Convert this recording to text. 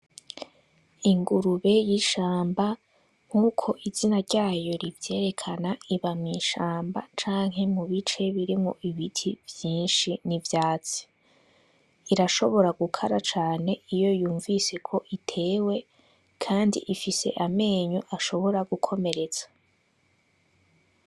Ingurube y'ishamba, nkuko izina ryayo rivyerekana iba mwishamba canke mu bice birimwo ibiti vyinshi n'ivyatsi, irashobora gukara cane iyo yumvise ko itewe kandi ifise amenyo ashobora gukomeretsa.